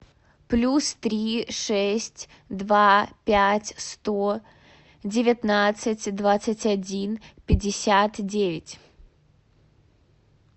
плюс три шесть два пять сто девятнадцать двадцать один пятьдесят девять